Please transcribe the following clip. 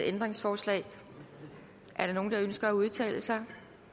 ændringsforslag er der nogen der ønsker at udtale sig